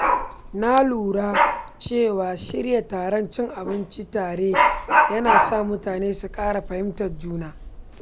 Na lura cewa shirya taron cin abinci tare yana sa mutane su ƙara fahimtar juna.